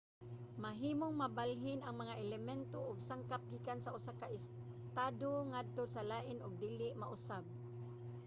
mahimong mabalhin ang mga elemento ug sangkap gikan sa usa ka estado ngadto sa lain ug dili mausab